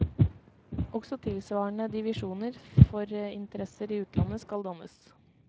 Også tilsvarende divisjoner for interesser i utlandet skal dannes.